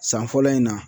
San fɔlɔ in na